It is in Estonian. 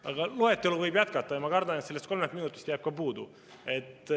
Aga loetelu võib jätkata ja ma kardan, et sellest kolmest minutist jääb ka puudu.